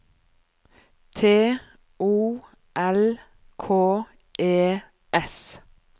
T O L K E S